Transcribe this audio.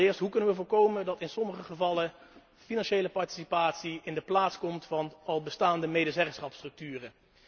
1 Hoe kunnen we voorkomen dat in sommige gevallen financiële participatie in de plaats komt van al bestaande medezeggenschapsstructuren?